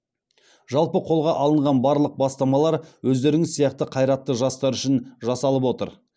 жалпы қолға алынған барлық бастамалар өздеріңіз сияқты қайратты жастар үшін жасалып отыр